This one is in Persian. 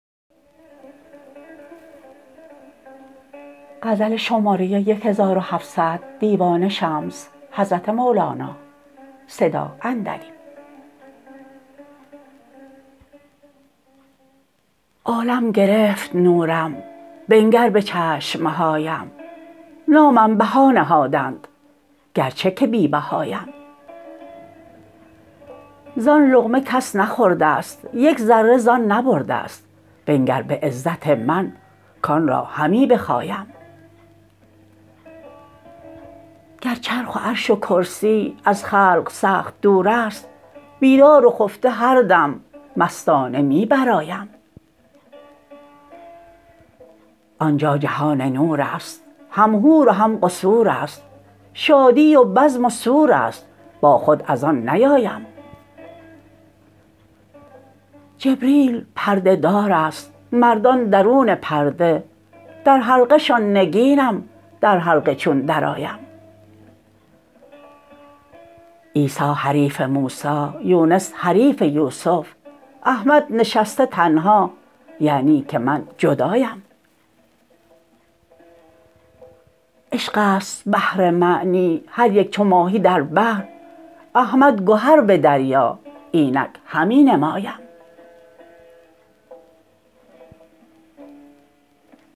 عالم گرفت نورم بنگر به چشم هایم نامم بها نهادند گرچه که بی بهایم زان لقمه کس نخورده ست یک ذره زان نبرده ست بنگر به عزت من کان را همی بخایم گر چرخ و عرش و کرسی از خلق سخت دور است بیدار و خفته هر دم مستانه می برآیم آن جا جهان نور است هم حور و هم قصور است شادی و بزم و سور است با خود از آن نیایم جبریل پرده دار است مردان درون پرده در حلقه شان نگینم در حلقه چون درآیم عیسی حریف موسی یونس حریف یوسف احمد نشسته تنها یعنی که من جدایم عشق است بحر معنی هر یک چو ماهی در بحر احمد گهر به دریا اینک همی نمایم